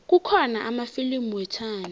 kukhona amafilimu wethando